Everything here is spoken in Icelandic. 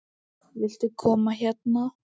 Viltu koma hérna?